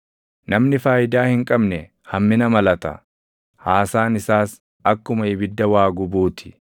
Namni faayidaa hin qabne hammina malata; haasaan isaas akkuma ibidda waa gubuu ti.